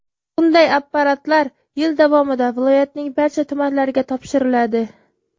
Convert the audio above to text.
Bunday apparatlar yil davomida viloyatning barcha tumanlariga topshiriladi.